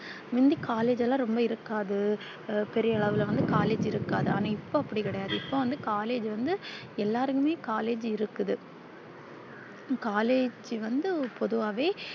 முந்தி collage ல்லா இருக்காது பெரிய அளவுல வந்து collage இருக்காது ஆனா இப்போ அப்டி கிடையாது இப்போ வந்து collage வந்து எல்லாருக்குமே collage இருக்குது collage வந்து பொதுவாவே